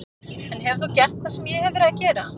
En hefur þú gert það sem ég hef verið að gera?